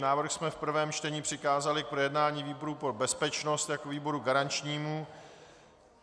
Návrh jsme v prvém čtení přikázali k projednání výboru pro bezpečnost jako výboru garančnímu.